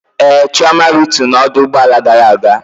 Ee, Chioma rịtu na ọdụ ụgbọ ala gara aga